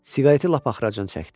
Siqareti lap axıracan çəkdi.